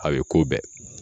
A bɛ k'o bɛɛ